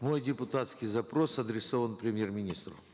мой депутатский запрос адресован премьер министру